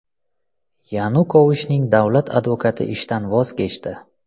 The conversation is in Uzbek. Yanukovichning davlat advokati ishdan voz kechdi.